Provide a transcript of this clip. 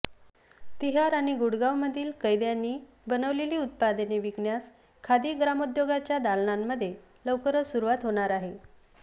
तिहार आणि गुडगावमधील कैद्यांनी बनविलेली उत्पादने विकण्यास खादी ग्रामोद्योगच्या दालनांमध्ये लवकरच सुरवात होणार आहे